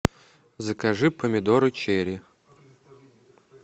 закажи помидоры черри